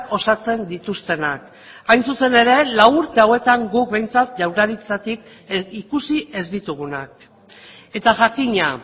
osatzen dituztenak hain zuzen ere lau urte hauetan guk behintzat jaurlaritzatik ikusi ez ditugunak eta jakina